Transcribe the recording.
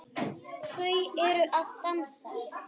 Þau eru að dansa